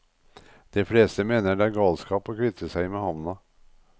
De fleste mener det er galskap å kvitte seg med havna.